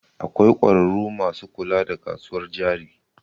Akwai ƙwararru masu kula da kasuwar jari